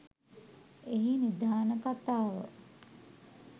එහි නිධාන කතාව